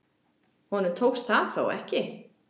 Honum tókst það þó ekki.